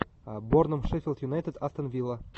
борном шеффилд юнайтед астон вилла